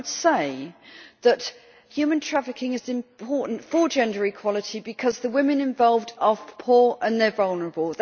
I would say that human trafficking is important for gender equality because the women involved are poor and vulnerable.